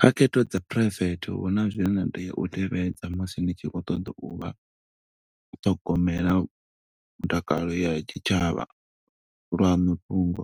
Kha khetho dza phuraivethe huna zwine na tea u tevhedza, musi ni tshi khou ṱoḓa u vha, ṱhogomela mutakalo ya tshitshavha. Lwanu fhungo,